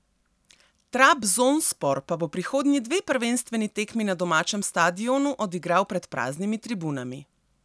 Trabzonspor pa bo prihodnji dve prvenstveni tekmi na domačem stadionu odigral pred praznimi tribunami.